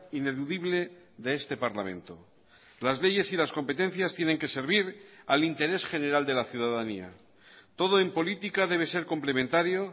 ineludible de este parlamento las leyes y las competencias tienen que servir al interés general de la ciudadanía todo en política debe ser complementario